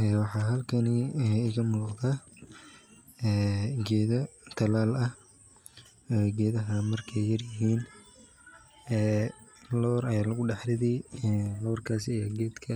Ee waxa halkani ee iga muqda ee geda talal ah, gedaha markay yar yihiin loor aya lugu dhax ridi, loorkas aya gedka